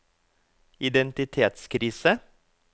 identitetskrise